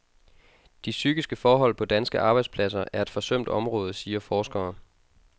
De psykiske forhold på danske arbejdspladser er et forsømt område, siger forskere.